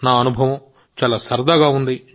నా అనుభవం చాలా సరదాగా ఉంది